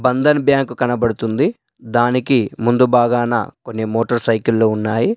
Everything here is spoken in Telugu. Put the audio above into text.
బంధన్ బ్యాంకు కనబడుతుంది. దానికి ముందు భాగాన కొన్ని మోటార్ సైకిళ్లు ఉన్నాయి.